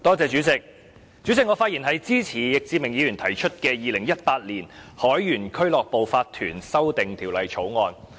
主席，我發言支持易志明議員提出的《2018年海員俱樂部法團條例草案》。